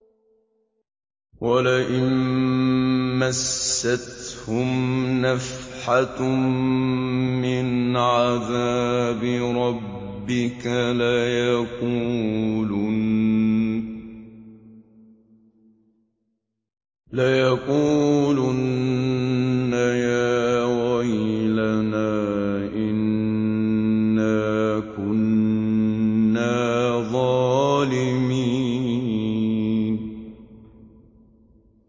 وَلَئِن مَّسَّتْهُمْ نَفْحَةٌ مِّنْ عَذَابِ رَبِّكَ لَيَقُولُنَّ يَا وَيْلَنَا إِنَّا كُنَّا ظَالِمِينَ